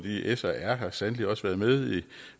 s og r har sandelig også været med i